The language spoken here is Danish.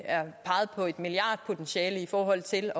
er peget på et milliardpotentiale i forhold til